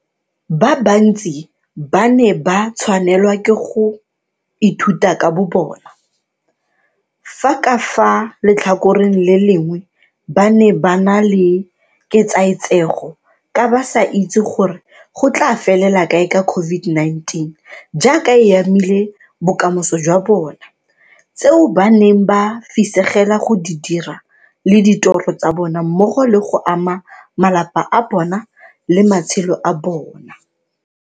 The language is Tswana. Ba bantsi ba ne ba tshwanelwa ke go ithuta ka bobona, fa ka fa letlhakoreng le lengwe ba ne ba na le ketsaetsego ka ba sa itse gore go tla felela kae ka COVID-19 jaaka e amile bokamoso jwa bona, tseo ba neng ba fisegela go di dira le ditoro tsa bona mmogo le go ama malapa a bona le matshelo a bona.